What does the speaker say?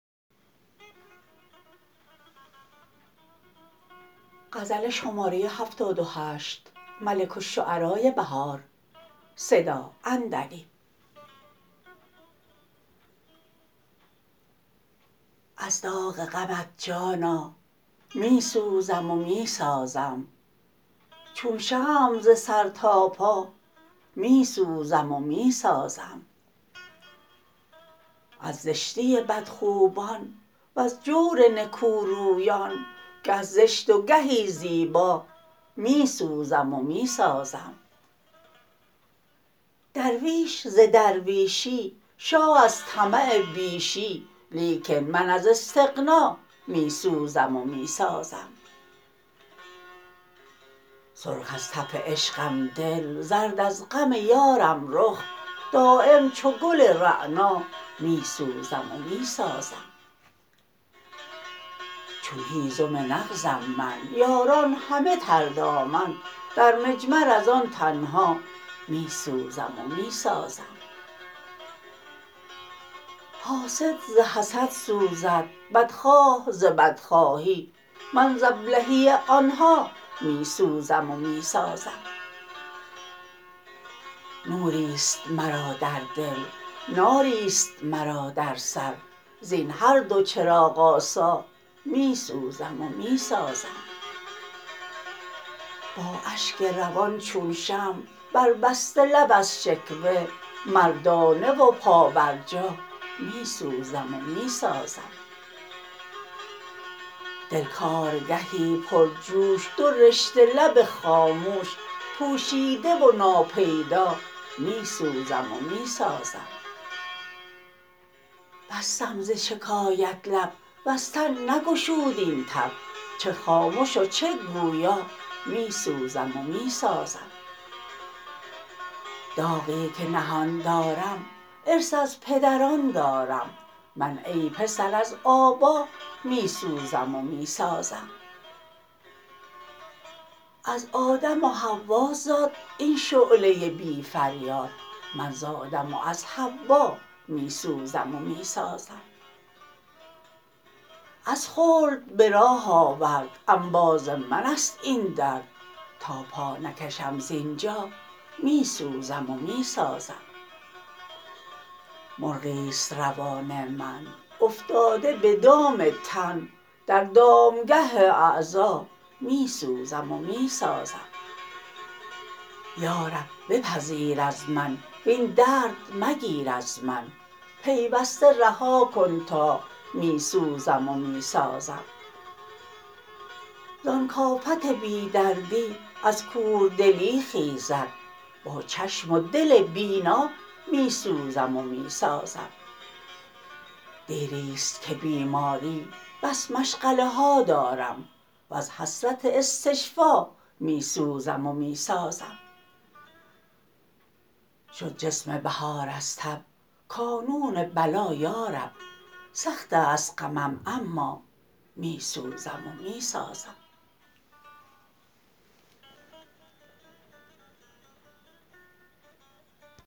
از داغ غمت جانا می سوزم و می سازم چون شمع ز سر تا پا می سوزم و می سازم از زشتی بدخویان وز جور نکورویان گه زشت و گهی زیبا می سوزم و می سازم درویش ز درویشی شاه از طمع بیشی لیکن من از استغنا می سوزم و می سازم سرخ از تف عشقم دل زرد از غم یارم رخ دایم چو گل رعنا می سوزم و می سازم چون هیزم نغزم من یاران همه تر دامن در مجمر از آن تنها می سوزم و می سازم حاسد ز حسد سوزد بدخواه ز بدخواهی من ز ابلهی آنها می سوزم و می سازم نوریست مرا در دل ناریست مرا در سر زپن هر دو چراغ آسا می سوزم و می سازم با اشک روان چون شمع بربسته لب از شکوه مردانه و پابرجا می سوزم و می سازم دل کارگهی پرجوش دو رشته لب خاموش پوشیده و ناپیدا می سوزم و می سازم بستم زشکایت لب وزتن نگشود این تب چه خامش و چه گویا می سوزم و می سازم داغی که نهان دارم ارث از پدران دارم من ای پسر از آبا می سوزم و می سازم از آدم و حوا زاد این شعله بی فریاد من ز آدم و از حوا می سوزم و می سازم از خلد به راه آورد انباز منست این درد تا پا نکشم ز اینجا می سوزم و می سازم مرغیست روان من افتاده به دام تن در دامگه اعضا می سوزم و می سازم یا رب بپذیر از من وین درد مگیر از من پیوسته رها کن تا می سوزم و می سازم زان کافت بی دردی از کوردلی خیزد با چشم و دل بینا می سوزم و می سازم دیریست که بیمارم بس مشغله ها دارم وز حسرت استشفا می سوزم و می سازم شد جسم بهار از تب کانون بلا یارب سختست غمم اما می سوزم و می سازم